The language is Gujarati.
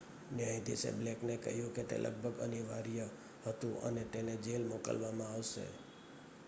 "ન્યાયાધીશે બ્લેકને કહ્યું કે તે "લગભગ અનિવાર્ય" હતું અને તેને જેલ મોકલવામાં આવશે.